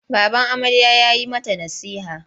Baban amarya ya yi mata nasiha.